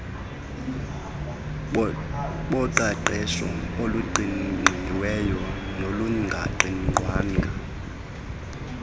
boqeqesho oluqingqiweyo nolungaqingqwanga